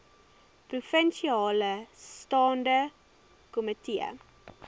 provinsiale staande komitee